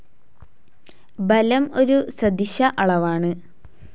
ബലം ഒരു സദിശ അളവാണ്.